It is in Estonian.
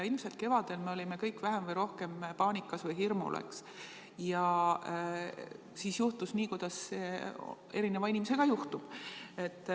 Ilmselt kevadel me olime kõik vähem või rohkem paanikas või hirmul, ja siis juhtus nii, kuidas erinevate inimestega ikka juhtub.